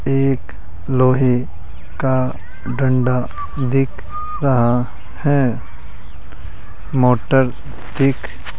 एक लोहे का डंडा दिख रहा हैं मोटर दिख --